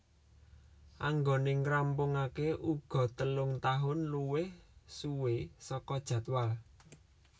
Anggone ngrampungake uga telung tahun luwih suwi saka jadwal